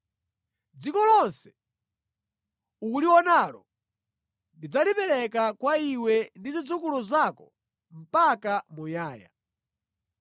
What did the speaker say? Dziko lonse ukulionalo ndidzalipereka kwa iwe ndi zidzukulu zako mpaka muyaya.